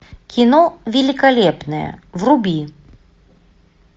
кино великолепные вруби